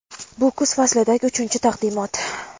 Bu kuz faslidagi uchinchi taqdimot.